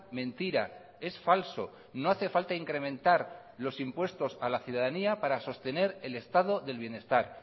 mentira es falso no hace falta incrementar los impuestos a la ciudadanía para sostener el estado del bienestar